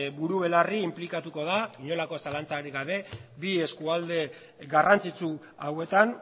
buru belarri inplikatuko da inolako zalantzarik gabe bi eskualde garrantzitsu hauetan